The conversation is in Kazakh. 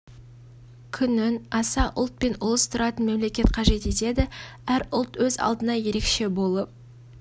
күнін аса ұлт пен ұлыс тұратын мемлекет қажет етеді әр ұлт өз алдына ерекше болып